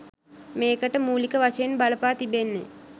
මේකට මූලික වශයෙන් බලපා තිබෙන්නේ